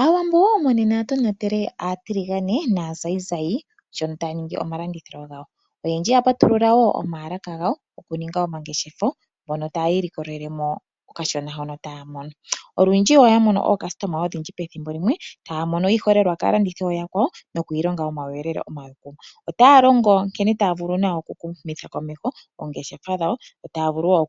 Aawambo monena ya tonatele aatiligane naazayizayi sho taya ningi omalandithilo gawo. Oyendji ya patulula wo omalaka gawo oku ninga omangeshefo mono tayi ilikolele mo okashona hono taya mono mo. Olundji oya mono aalandi oyendji pethimbo limwe, taya mono iiholelwa kaalandithi oyakwawo noku ilonga omawuyelele omape. Ota longo nkene taa vulu oku humitha komeho oongeshefa dhawo noshowo